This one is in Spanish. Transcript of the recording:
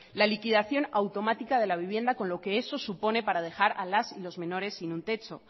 la liquidación automática de la vivienda con lo que eso supone para dejar a las y los menores sin un techo